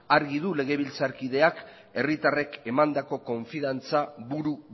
argi du legebiltzarkideak herritarrek emandako konfidantza buru